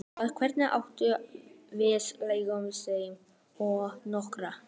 Og hvernig gátum við leyft þeim að skora?